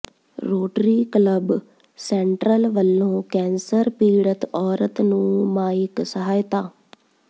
rotary Club Central ਵੱਲੋਂ cancer ਪੀੜਤ ਔਰਤ ਨੂੰ ਮਾਇਕ ਸਹਾਇਤਾ